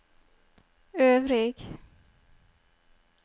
øvrig